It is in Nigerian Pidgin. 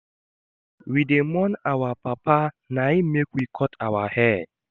We dey mourn our papa na im make we cut our hair.